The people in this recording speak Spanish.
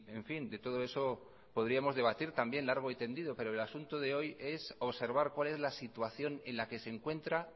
en fin de todo eso podríamos debatir también largo y tendido pero el asunto de hoy es observar cuál es la situación en la que se encuentra